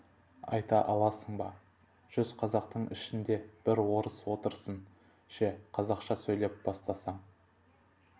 айта аласың ба жүз қазақтың ішінде бір орыс отырсын ше қазақша сөйлей бастасаң